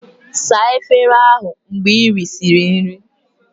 Saa efere ndị ahụ mgbe ị risịrị nri!